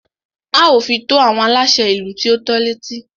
A ó fi tó àwọn aláṣẹ ìlú tí o tọ́ l'étí.